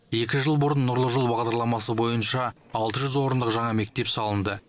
екі жыл бұрын нұрлы жол бағдарламасы бойынша алты жүз орындық жаңа мектеп салынды